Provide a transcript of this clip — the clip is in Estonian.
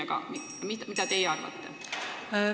Aga mida teie arvate?